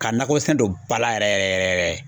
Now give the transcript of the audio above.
Ka nakɔ sɛnɛ don ba la yɛrɛ yɛrɛ yɛrɛ yɛrɛ